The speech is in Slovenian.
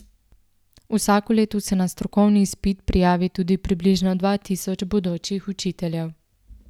Vsako leto se na strokovni izpit prijavi tudi približno dva tisoč bodočih učiteljev.